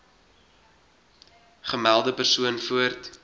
gemelde persoon voort